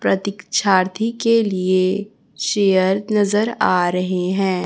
प्रतीकक्षारथी के लिए चेयर नजर आ रहे हैं।